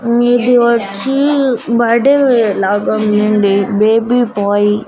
మీది వచ్చి బడ్డే లాగా ఉందండి బేబీ బాయ్ --